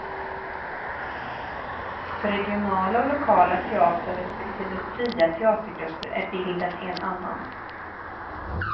För regionala och lokala teatrar, respektive fria teatergrupper är bilden en annan.